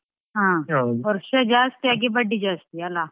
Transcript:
ವರ್ಷ ಜಾಸ್ತಿ ಆಗಿ ಬಡ್ಡಿ ಜಾಸ್ತಿ ಅಲಾ.